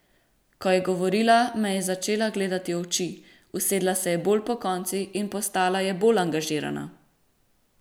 Ko je govorila, me je začela gledati v oči, usedla se je bolj pokonci in postala je bolj angažirana.